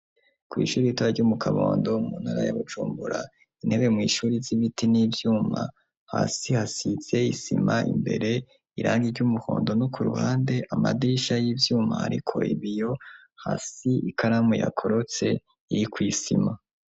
Kw' ishuri ritoraya ryo mu Kabondo muntara ya Bujumbura, intebe mw' ishuri z'ibiti n'ivyuma hasi hasize isima, imbere irangi ry'umuhondo no ku ruhande amadisha y'ivyuma ariko ibiyo ,hasi ikaramu yakorotse iri kw' isima